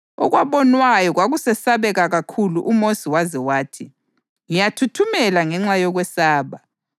Okwabonwayo kwakusesabeka kakhulu uMosi waze wathi, “Ngiyathuthumela ngenxa yokwesaba.” + 12.21 UDutheronomi 9.19